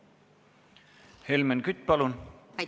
Helmen Kütt, palun!